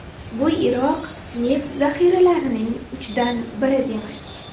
Bu Iroq neft zaxiralarining uchdan biri demak.